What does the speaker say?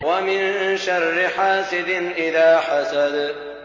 وَمِن شَرِّ حَاسِدٍ إِذَا حَسَدَ